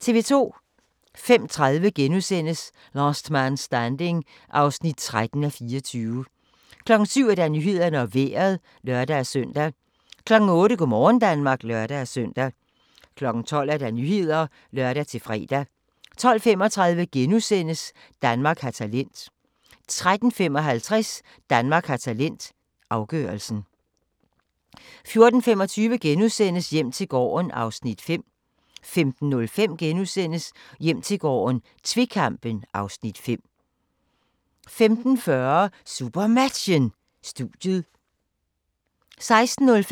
05:30: Last Man Standing (13:24)* 07:00: Nyhederne og Vejret (lør-søn) 08:00: Go' morgen Danmark (lør-søn) 12:00: Nyhederne (lør-fre) 12:35: Danmark har talent * 13:55: Danmark har talent - afgørelsen 14:25: Hjem til gården (Afs. 5)* 15:05: Hjem til gården - tvekampen (Afs. 5)* 15:40: SuperMatchen: Studiet 16:05: SuperMatchen: FC Midtjylland-Viborg (k), direkte